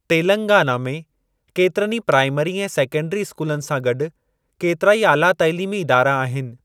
तेलंगाना में केतिरनि ई प्राइमरी ऐं सेकंडरी स्कूलनि सां गॾु केतिराई आला तइलीमी इदारा आहिनि।